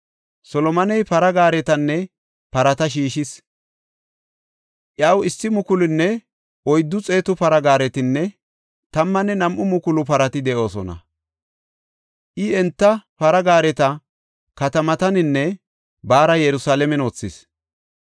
Solomoney para gaaretanne parata shiishis; iyaw 1,400 para gaaretinne 12,000 parati de7oosona. I enta para gaareta katamataninne baara Yerusalaamen wothis.